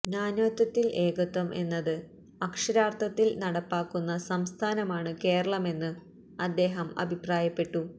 നാനാത്വത്തില് ഏകത്വം എന്നത് അക്ഷരാര്ത്ഥത്തില് നടപ്പാക്കുന്ന സംസ്ഥാനമാണ് കേരളമെന്ന് അദ്ദേഹം അഭിപ്രായപ്പെട്ടു